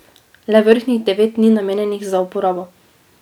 Le vrhnjih devet ni namenjenih za uporabo.